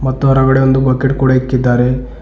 ಮತ್ತು ಒರಗಡೆ ಒಂದು ಬಕೆಟ್ ಕೂಡ ಇಕ್ಕಿದಾರೆ.